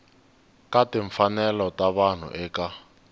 ka timfanelo ta vanhu eka